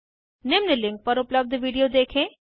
निम्न लिंक पर उपलब्ध विडिओ देखें